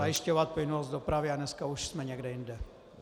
- zajišťovat plynulost dopravy a dneska už jsme někde jinde.